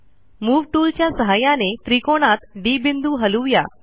move tool च्या सहाय्याने त्रिकोणात डी बिंदू हलवू या